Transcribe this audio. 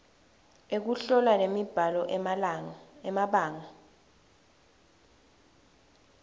ekuhlola nemibhalo emabanga